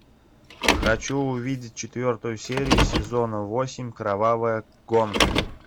хочу увидеть четвертую серию сезона восемь кровавая гонка